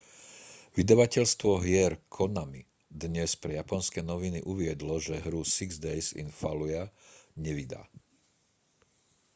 vydavateľstvo hier konami dnes pre japonské noviny uviedlo že hru six days in fallujah nevydá